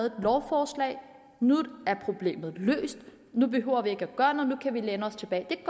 et lovforslag og nu er problemet løst nu behøver vi ikke at gøre noget nu kan vi læne os tilbage det